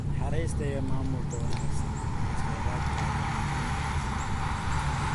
Naxariista iyo maamulka wanaagsan ee kheyraadka ayaa muhiim ah.